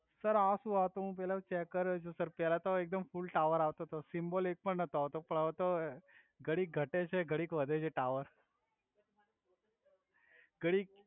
sir આ સુ આતો હુ પેલાતો ચેક કરુ છુ પેલા તો એકદમ ફુલ ટાવર આવ્તો તો સિમ્બોલ એક પણ નતો આવ્તો પણ હવે તો ઘડીક ઘટે છે ઘડીક વધે છે ટાવર ઘડિક